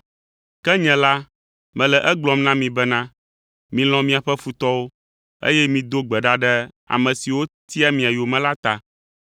Ke nye la, mele egblɔm na mi bena, milɔ̃ miaƒe futɔwo, eye mido gbe ɖa ɖe ame siwo tia mia yome la ta,